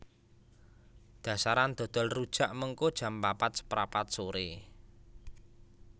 Dasaran dodol rujak mengko jam papat seprapat sore